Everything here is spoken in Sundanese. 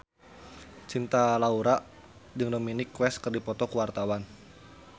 Cinta Laura jeung Dominic West keur dipoto ku wartawan